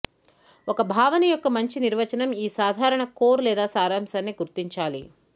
ఒక భావన యొక్క మంచి నిర్వచనం ఈ సాధారణ కోర్ లేదా సారాంశాన్ని గుర్తించాలి